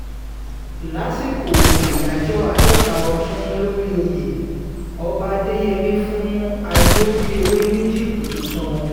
lásìkò àyájọ́ àádọ́ta ọdún lórí oyè ọba adéyẹmi fún àjọbọ̀pẹ̀wé ní jíìpù tuntun